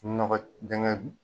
Nɔgɔ dɛngɛ.